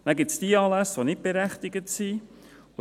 Dann gibt es die Anlässe, die nicht berechtigt sind.